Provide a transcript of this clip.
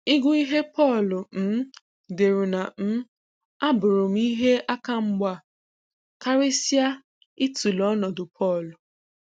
Ị gụ ihe Pọl um deru na um abụrụ m ihe aka mgba, karịsịa itụle ọnọdụ Paul.